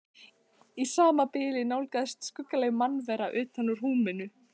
Í sama bili nálgaðist skuggaleg mannvera utan úr húminu.